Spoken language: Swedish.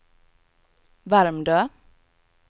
Värmdö